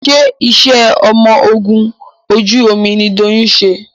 ṣe iṣé ọmọ ògún ojú omí ní Doyin ṣe?